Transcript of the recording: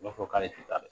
U b'a fɔ k'ale tɛ taa